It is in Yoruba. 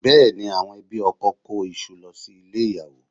Bẹ́ẹ̀ ni, àwọn ẹbí ọkọ kó iṣu lọ sílé ìyàwó